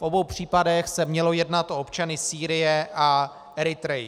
V obou případech se mělo jednat o občany Sýrie a Eritrey.